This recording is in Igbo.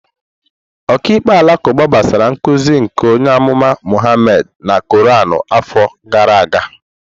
Okiikpe alakuba gbasoro nkuzi nke onye amụma Muhammad na Quran afọ gara aga.